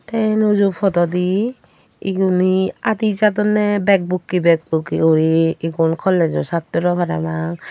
tay anuju pododi egunay adijadonay bak bukay bak bukay guri igun colajosatorow parapang.